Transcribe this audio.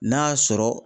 N'a sɔrɔ